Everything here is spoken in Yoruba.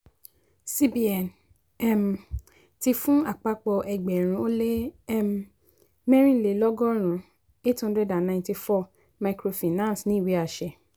cbn um ti fún apapọ ẹgbẹrun ó lé um mẹ́rinlélọ́gọ̀rún eight hundred and ninety four microfinance ní ìwé àṣẹ.